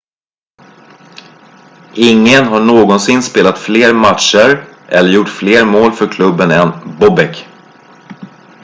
ingen har någonsin spelat fler matcher eller gjort fler mål för klubben än bobek